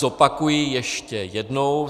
Zopakuji ještě jednou.